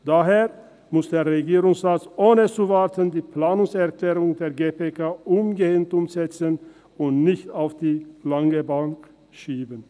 Daher muss der Regierungsrat die Planungserklärungen der GPK ohne zu warten, umgehend umsetzen und dies nicht auf die lange Bank schieben.